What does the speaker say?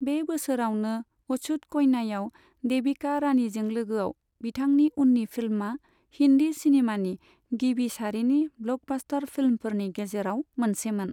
बे बोसोरावनो अछुत कन्यायाव देबिका रानिजों लोगोआव बिथांनि उन्नि फिल्मआ हिन्दी सिनेमानि गिबि सारिनि ब्लकबास्टार फिल्मफोरनि गेजेराव मोनसेमोन।